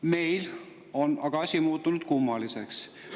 Meil on aga asi muutunud kummaliseks.